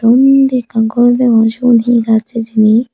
undi ekkan gor degong sigun he gaj hijeni.